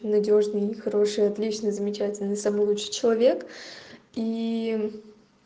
надёжные хорошие отлично замечательно самый лучший человек и